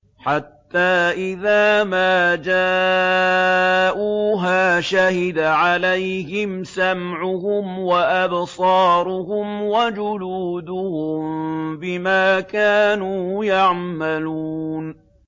حَتَّىٰ إِذَا مَا جَاءُوهَا شَهِدَ عَلَيْهِمْ سَمْعُهُمْ وَأَبْصَارُهُمْ وَجُلُودُهُم بِمَا كَانُوا يَعْمَلُونَ